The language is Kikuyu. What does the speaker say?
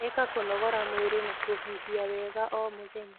Ika kũnogora mwĩrĩ na kuhihia wega o mũthenya